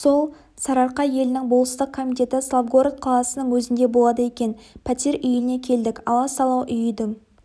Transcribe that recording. сол сарыарқа елінің болыстық комитеті славгород қаласының өзінде болады екен пәтер үйіне келдік аласалау үй үйдің